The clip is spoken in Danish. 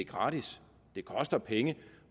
gratis det koster penge